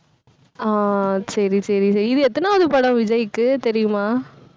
ஆஹ் சரி, சரி சரி. இது எத்தனையாவது படம் விஜய்க்கு தெரியுமா